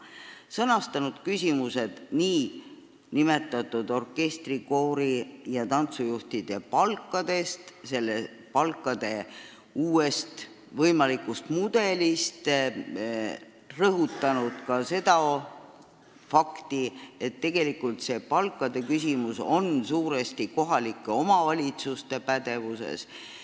Ta on sõnastanud küsimused orkestri-, koori- ja tantsujuhtide palkade kohta ja selgitanud nende palkade uut võimalikku mudelit ning rõhutanud ka fakti, et tegelikult on see palkade küsimus suuresti kohalike omavalitsuste pädevuses.